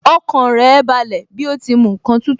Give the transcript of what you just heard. Ọkàn rẹ̀ balẹ̀ bí ó ti mu ǹkan tútù